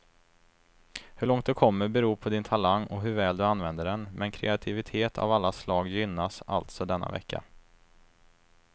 Hur långt du kommer beror på din talang och hur väl du använder den, men kreativitet av alla slag gynnas alltså denna vecka.